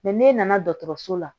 n'e nana dɔgɔtɔrɔso la